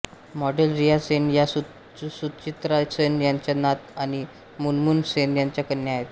model Riya Sen या सुचित्रा सेन यांच्या नात आणि मुनमुन सेन यांच्या कन्या आहेत